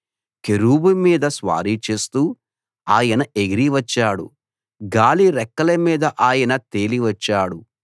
కెరూబు మీద స్వారీ చేస్తూ ఆయన ఎగిరి వచ్చాడు గాలి రెక్కల మీద ఆయన తేలి వచ్చాడు